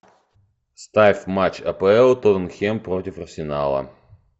ставь матч апл тоттенхэм против арсенала